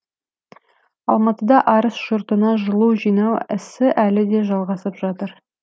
алматыда арыс жұртына жылу жинау ісі әлі де жалғасып жатыр